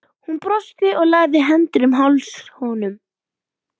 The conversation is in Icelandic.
Hún brosti og lagði hendurnar um háls honum.